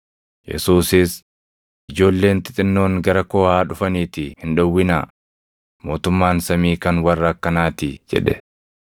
Yesuusis, “Ijoolleen xixinnoon gara koo haa dhufaniitii hin dhowwinaa; mootummaan samii kan warra akkanaatii” jedhe.